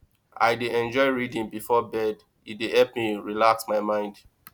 i dey enjoy reading before bed e dey help me relax my mind